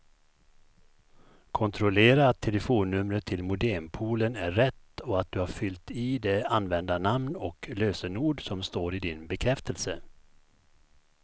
Kontrollera att telefonnumret till modempoolen är rätt och att du har fyllt i det användarnamn och lösenord som står i din bekräftelse.